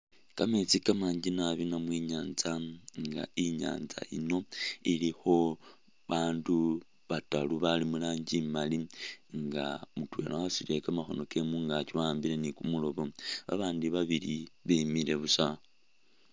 Kameetsi kamanji nabi namwe i'nyaanza nga i'nyaanza yino ilikho abaandu bataru bali mu rangi imali nga mutwela wasutile kamakhono kewe mu ngaakyi wa'ambile ni kumulobo, babaandi babili bimile busa.